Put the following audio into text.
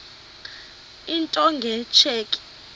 into nge tsheki